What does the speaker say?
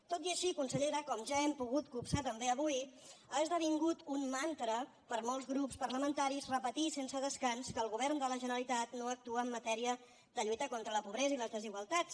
tot i així consellera com ja hem pogut copsar també avui ha esdevingut un mantra per a molts grups parlamentaris repetir sense descans que el govern de la generalitat no actua en matèria de lluita contra la pobresa i les desigualtats